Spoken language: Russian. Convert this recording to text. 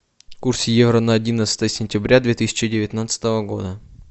курс евро на одиннадцатое сентября две тысячи девятнадцатого года